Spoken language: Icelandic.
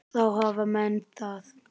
Þá hafa menn það.